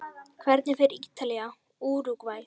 Hvernig fer Ítalía- Úrúgvæ?